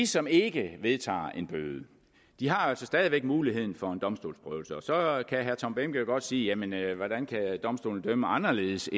som ikke vedtager en bøde altså stadig væk har muligheden for en domstolsprøvelse så kan herre tom behnke jo godt sige jamen hvordan kan domstolen dømme anderledes